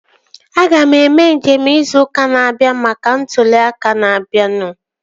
Aga m eme nje izu ụka na-abịa maka maka ntụli aka na-abianu